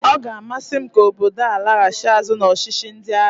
Ọ ga-amasị m ka obodo a laghachi azụ n'ọchịchị ndị agha